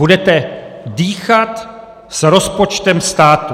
Budete dýchat s rozpočtem státu.